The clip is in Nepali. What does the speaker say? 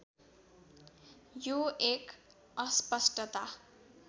यो एक अस्पष्टता